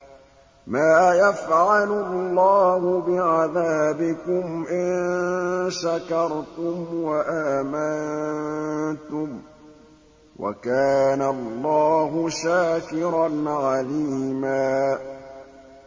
مَّا يَفْعَلُ اللَّهُ بِعَذَابِكُمْ إِن شَكَرْتُمْ وَآمَنتُمْ ۚ وَكَانَ اللَّهُ شَاكِرًا عَلِيمًا